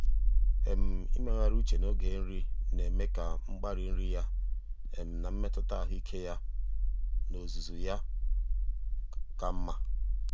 ịmegharị uche n'oge nri na-eme ka mgbari nri ya na mmetụta ahụike ya um n'ozuzu um ya ka mma.